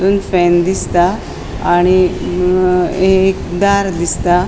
एक फैन दिसता आणि अ ये एक दार दिसता.